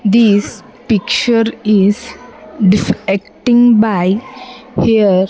This picture is defecting by here --